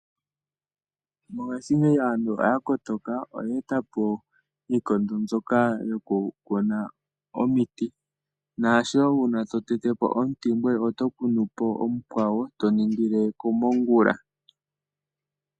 Mongaashingeyi aantu oya kotoka, oye e ta po iikondo mbyoka yoku kuna omiti, naasho gumwe ta tete po omuti ngoye oto kunu po omukwawo to ningile komongula.